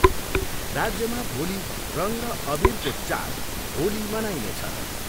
राज्यमा भोलि रङ र अबिरको चाड होली मनाइनेछ।